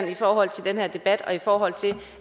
i forhold til den her debat og i forhold til